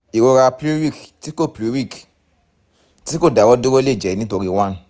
ìrora pleuric tí kò [pcs] pleuric tí kò dáwọ́ dúró lè jẹ́ nítorí one